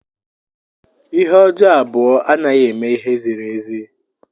Ihe ọjọọ abụọ anaghị eme ihe ziri ezi.